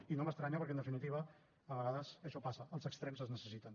i no m’estranya perquè en definitiva a vegades això passa els extrems es necessiten